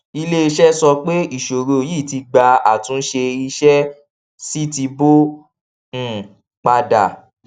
iléiṣẹ sọ pé iṣoro yìí ti gba àtúnṣe iṣẹ sì ti bọ um padà